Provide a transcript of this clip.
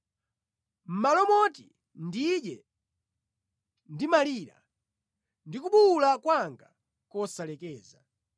Mʼmalo moti ndidye, ndimalira, ndi kubuwula kwanga nʼkosalekeza.